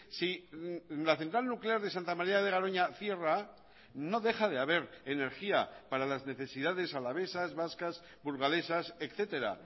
si la central nuclear de santa maría de garoña cierra no deja de haber energía para las necesidades alavesas vascas burgalesas etcétera